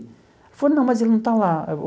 Ela falou, não, mas ele não está lá.